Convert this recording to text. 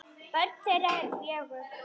Börn þeirra eru fjögur.